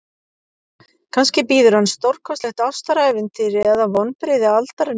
Kannski bíður hans stórkostlegt ástarævintýri eða vonbrigði aldarinnar.